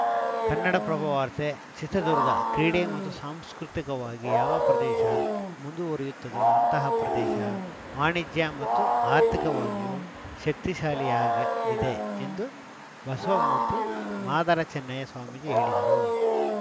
ಕನ್ನಡಪ್ರಭ ವಾರ್ತೆ ಚಿತ್ರದುರ್ಗ ಕ್ರೀಡೆ ಮತ್ತು ಸಾಂಸ್ಕೃತಿಕವಾಗಿ ಯಾವ ಪ್ರದೇಶ ಮುಂದುವರಿಯುತ್ತದೋ ಅಂತಹ ಪ್ರದೇಶ ವಾಣಿಜ್ಯ ಮತ್ತು ಆರ್ಥಿಕವಾಗಿಯೂ ಶಕ್ತಿಶಾಲಿಯಾಗಲಿದೆ ಎಂದು ಬಸವಮೂರ್ತಿ ಮಾದಾರಚನ್ನಯ್ಯ ಸ್ವಾಮೀಜಿ ಹೇಳಿದರು